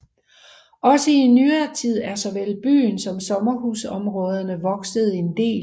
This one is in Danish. Også i nyere tid er såvel byen som sommerhusområderne vokset en del